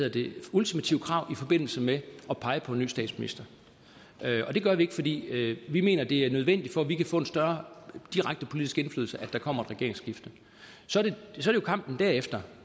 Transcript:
ultimative krav i forbindelse med at pege på en ny statsminister det gør vi ikke fordi vi mener det er nødvendigt for at vi kan få en større direkte politisk indflydelse at der kommer et regeringsskifte så er det jo kampen derefter